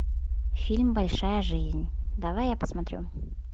фильм большая жизнь давай я посмотрю